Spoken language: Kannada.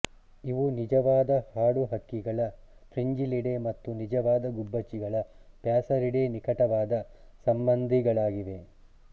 ಇವು ನಿಜವಾದ ಹಾಡುಹಕ್ಕಿಗಳ ಫ್ರಿಂಜಿಲ್ಲಿಡೇ ಮತ್ತು ನಿಜವಾದ ಗುಬ್ಬಚ್ಚಿಗಳ ಪ್ಯಾಸರಿಡೇ ನಿಕಟವಾದ ಸಂಬಂಧಿಗಳಾಗಿವೆ